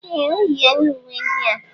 Ee! O yiela uwe ndị a.